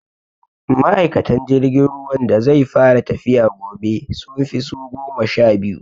Ma'aikatan jirgin ruwan da zai fara tafiya gobe, sun fi su goma sha biyu.